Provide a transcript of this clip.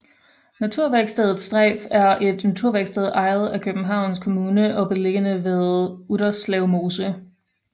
Naturværkstedet Streyf er et naturværksted ejet af Københavns Kommune og beliggende ved Utterslev Mose